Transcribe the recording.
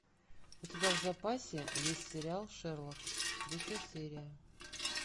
у тебя в запасе есть сериал шерлок третья серия